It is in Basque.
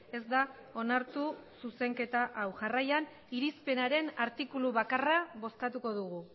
ez da onartu zuzenketa hau jarraian irizpenaren artikulu bakarra bozkatuko dugu